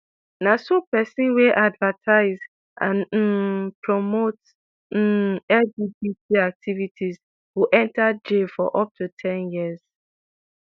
na so pesin wey advertise and um promote um lgbt activities go enta jail for up to ten years